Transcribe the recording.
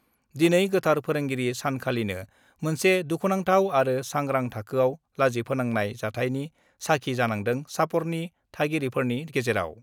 दिनै गोथार फोरोंगिरि सानखालिनो मोनसे दुखुनांथाव आरो सांग्रां थाखोआव लाजिफोनांनाय जाथायनि साखि जानांदों चापरनि थागिरिफोरनि गेजेराव।